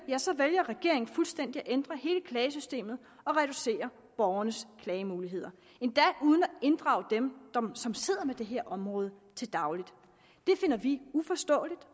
vælger regeringen fuldstændig at ændre hele klagesystemet og reducere borgernes klagemuligheder endda uden at inddrage dem som sidder med det her område til daglig det finder vi uforståeligt